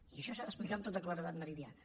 i això s’ha d’explicar amb tota claredat meridiana